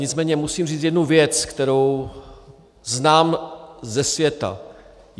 Nicméně musím říct jednu věc, kterou znám ze světa.